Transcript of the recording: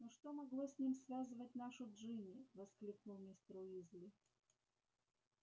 но что могло с ним связывать нашу джинни воскликнул мистер уизли